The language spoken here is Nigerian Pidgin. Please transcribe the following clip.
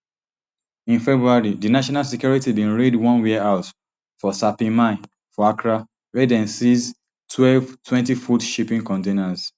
in february di national security bin raid one warehouse for sapeiman for accra wia dem seize twelve twentyfoot shipping containers